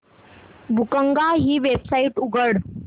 बुकगंगा ही वेबसाइट उघड